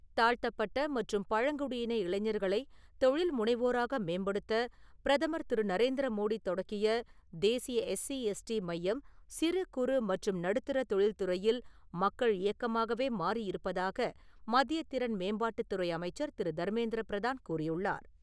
தாழ்த்தப்பட்ட மற்றும் பழங்குடியின இளைஞர்களை தொழில் முனைவோராக மேம்படுத்த பிரதமர் திரு. நரேந்திர மோடி தொடங்கிய தேசிய எஸ்சி, எஸ்டி மையம் சிறு, குறு மற்றும் நடுத்தர தொழில் துறையில் மக்கள் இயக்கமாகவே மாறி இருப்பதாக மத்திய திறன் மேம்பாட்டுத்துறை அமைச்சர் திரு. தர்மேந்திர பிரதான் கூறியுள்ளார்.